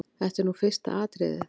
Þetta er nú fyrsta atriðið.